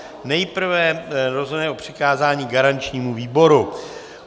Nejprve rozhodneme o přikázání garančnímu výboru.